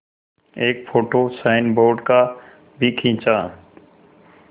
एक photo signboard का भी खींचा